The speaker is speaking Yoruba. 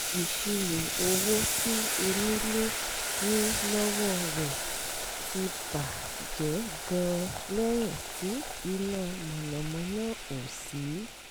ìṣirò owó tí onílé ní lọ́wọ́ rẹ̀ ti bà jẹ́ gan-an lẹ́yìn tí iná mànàmáná ò sí